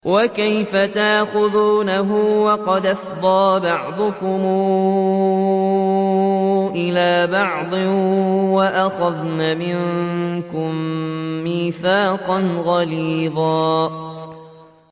وَكَيْفَ تَأْخُذُونَهُ وَقَدْ أَفْضَىٰ بَعْضُكُمْ إِلَىٰ بَعْضٍ وَأَخَذْنَ مِنكُم مِّيثَاقًا غَلِيظًا